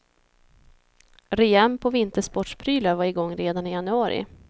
Rean på vintersportprylar var igång redan i januari.